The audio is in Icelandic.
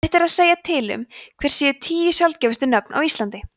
erfitt er að segja til um hver séu tíu sjaldgæfustu nöfn á íslandi